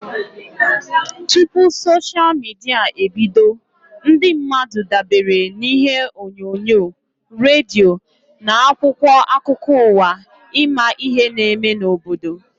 Tụpụ soshia midia ebido, ndị mmadụ dabere na ihe onyonyo, redio na akwụkwọ akụkọ ụwa ịma ihe n'eme n'obodo